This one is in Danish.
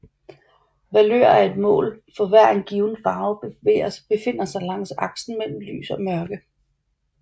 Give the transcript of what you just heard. Valør er et mål for hvor en given farve befinder sig langs aksen mellem lys og mørke